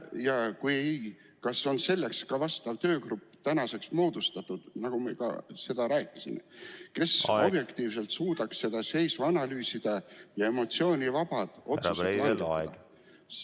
Ja kui ei, siis kas on moodustatud vastav töögrupp, nagu me rääkisime, kes ... efektiivselt suudaks seisu analüüsida ja emotsioonivabad otsused langetada?